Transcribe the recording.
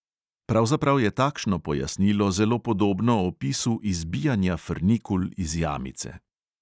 Pravzaprav je takšno pojasnilo zelo podobno opisu izbijanja frnikul iz jamice.